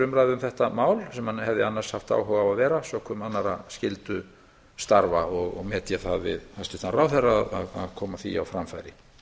um þetta mál sem hann hefði annars haft áhuga á að vera sökum annarra skyldustarfa og met ég það við hæstvirtan ráðherra að koma því á framfæri